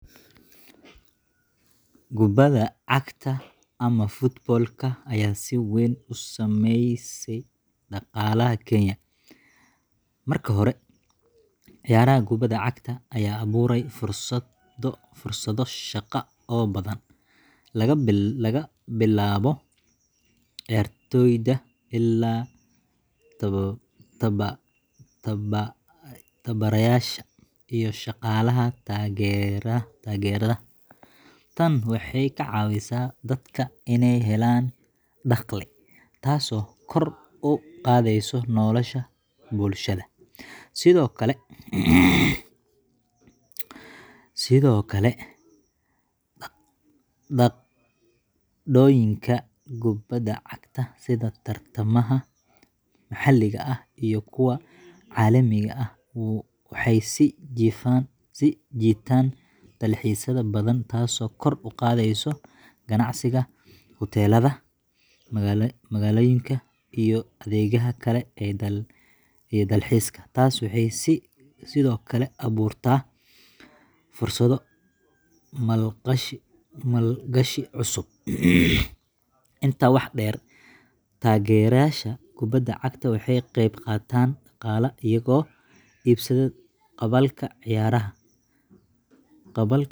Kubadaa cagta, ama football-ka, ayaa si weyn u saameysay dhaqaalaha Kenya. Marka hore, ciyaaraha kubadda cagta ayaa abuuray fursado shaqo oo badan, laga bilaabo ciyaartoyda ilaa tababarayaasha iyo shaqaalaha taageerada. Tani waxay ka caawisay dadka inay helaan dakhli, taasoo kor u qaadaysa nolosha bulshada. Sidoo kale, dhacdooyinka kubadda cagta sida tartamada maxalliga ah iyo kuwa caalamiga ah waxay soo jiitaan dalxiisayaal badan, taasoo kor u qaadaysa ganacsiga hoteelada, makhaayadaha, iyo adeegyada kale ee dalxiiska. Tani waxay sidoo kale abuurtaa fursado maalgashi oo cusub. Intaa waxaa dheer, taageerayaasha kubadda cagta waxay ka qeyb qaataan dhaqaalaha iyagoo iibsada qalabka ciyaaraha, tikidhada, iyo xayaysiisyada. Isku soo wada duuboo, kubadda cagta waxay door muhiim ah ka ciyaartaa kobcinta dhaqaalaha Kenya iyo kor u qaadista isdhexgalka bulshada.